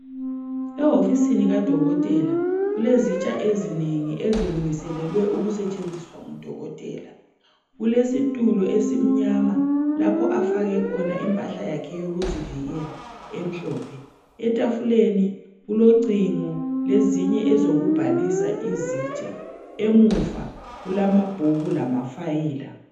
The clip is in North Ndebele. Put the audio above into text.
Ehofisini kadokotela, kulezitsha ezinengi ezilungiselelwe ukusetshenziswa ngudokotela. Kulesitulo esimnyama lapho afake khona impahla yakhe yokuzivikela emhlophe. Etafuleni ulocingo lezinye ezokubhalisa izitsha. Emuva, kulamabhuku lamafayila.